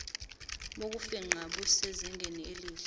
bokufingqa busezingeni elihle